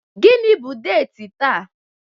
Gịnị bụ deti taa?